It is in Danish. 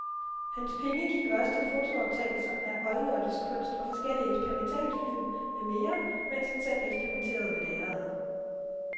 Hans penge gik også til fotooptagelser af oldnordisk kunst og forskellige eksperimentalfilm med mere, mens han selv eksperimenterede ved lærredet.